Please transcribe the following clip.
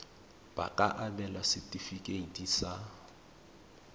ba ka abelwa setefikeiti sa